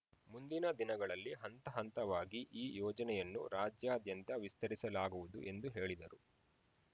ಮುಂದಿನ ದಿನಗಳಲ್ಲಿ ಹಂತ ಹಂತವಾಗಿ ಈ ಯೋಜನೆಯನ್ನು ರಾಜ್ಯಾದ್ಯಂತ ವಿಸ್ತರಿಸಲಾಗುವುದು ಎಂದು ಹೇಳಿದರು